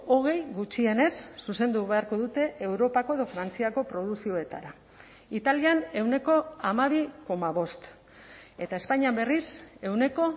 hogei gutxienez zuzendu beharko dute europako edo frantziako produkzioetara italian ehuneko hamabi koma bost eta espainian berriz ehuneko